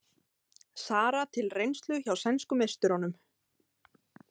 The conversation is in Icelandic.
Sara til reynslu hjá sænsku meisturunum